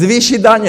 Zvýšit daně!